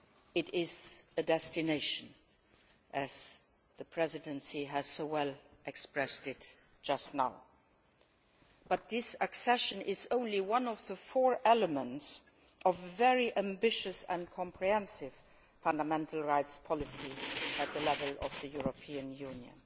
It is a destination, as the Presidency so well expressed it just now, but this accession is only one of the four elements of a very ambitious and comprehensive fundamental rights policy at the level of the European Union.